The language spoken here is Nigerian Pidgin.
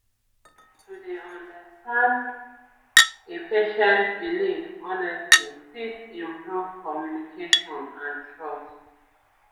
to dey understand pause a patient belief honestly fit improve communication and trust